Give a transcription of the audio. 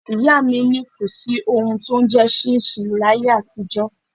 Ìyá mi ní kò sí ohun tí ó ń jẹ ṣinṣin láyé àtijó.